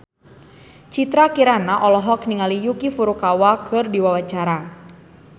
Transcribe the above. Citra Kirana olohok ningali Yuki Furukawa keur diwawancara